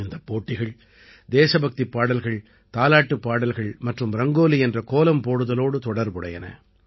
இந்தப் போட்டிகள் தேசபக்திப் பாடல்கள் தாலாட்டுப் பாடல்கள் மற்றும் ரங்கோலி என்ற கோலம் போடுதலோடு தொடர்புடையன